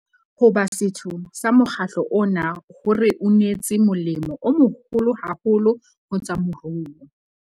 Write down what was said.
Ho ba setho sa mokgatlo ona ho re unetse molemo o moholo haholo ho tsa moruo.